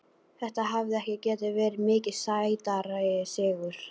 Þetta hefði ekki getað verið mikið sætari sigur.